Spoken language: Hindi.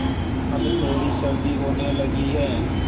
अब थोड़ी सर्दी होने लगी है